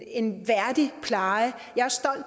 en værdig pleje